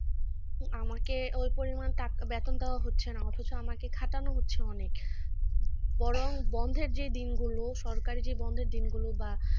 আমাকে ওই পরিমাণ টাকা বেতন দেওয়া হচ্ছে না। অথচ আমাকে খাটানো হচ্ছে অনেক বরং বন্ধের যে দিনগুলো, সরকারি যে বন্ধের দিনগুলো বা